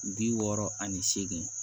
Bi wɔɔrɔ ani seegin